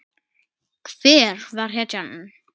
Hver verður hetjan?